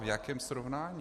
V jakém srovnání?